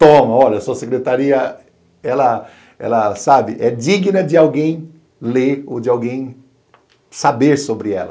Toma, olha, sua secretaria, ela, sabe, é digna de alguém ler ou de alguém saber sobre ela.